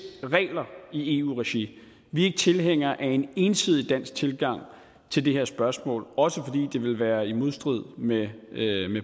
regler i eu regi vi er ikke tilhængere af en ensidig dansk tilgang til det her spørgsmål også fordi det ville være i modstrid med